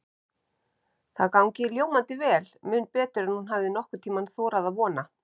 Það gangi ljómandi vel, mun betur en hún hafi nokkurn tíma þorað að vona.